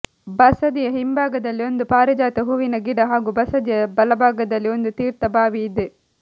ಬಸದಿಯ ಹಿಂಭಾಗದಲ್ಲಿ ಒಂದು ಪಾರಿಜಾತ ಹೂವಿನ ಗಿಡ ಹಾಗೂ ಬಸದಿಯ ಬಲಭಾಗದಲ್ಲಿ ಒಂದು ತೀರ್ಥ ಬಾವಿ ಇದೆ